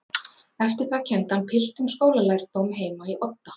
Eftir það kenndi hann piltum skólalærdóm heima í Odda.